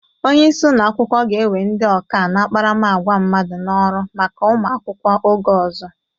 Onye isi ụlọ akwụkwọ ga-ewe ndị ọkà n'akparamàgwà mmadụ n'ọrụ maka ụmụ akwụkwọ oge ọzọ.